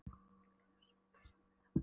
mig gleður sveit að sjá þig enn.